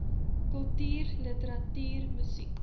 kultuur literatuur musiek